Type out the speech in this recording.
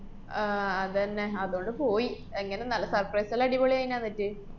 ആഹ് അതന്നെ. അതോണ്ട് പോയി. എങ്ങനെ നല്ല surprise ല്ലാ അടിപൊളിയാന്നാ അന്നിട്ട്?